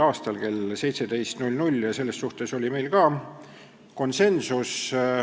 a kell 17 .